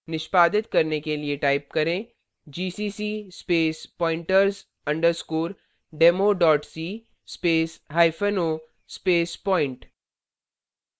निष्पादित करने के लिए type करेंgcc space pointers underscore demo dot c space hyphen o space point